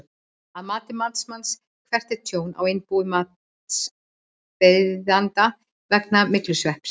Að mati matsmanns, hvert er tjón á innbúi matsbeiðanda vegna myglusvepps?